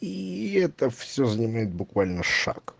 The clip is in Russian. и это все занимает буквально шаг